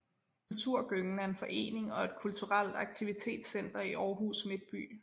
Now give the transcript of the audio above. Kulturgyngen er en forening og et kulturelt aktivitetscenter i Aarhus midtby